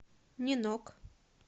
нинок